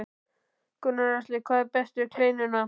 Gunnar Atli: Hvað er best við kleinuna?